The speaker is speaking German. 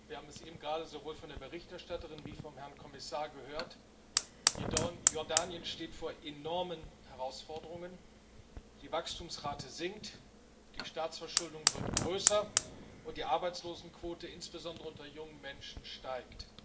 Wir haben es eben gerade sowohl von der Berichterstatterin wie auch vom Herrn Kommissar gehört Jordanien steht vor enormen Herausforderungen Die Wachstumsrate sinkt, die Staatsverschuldung wird größer, und die Arbeitslosenquote insbesondere unter jungen Menschen steigt.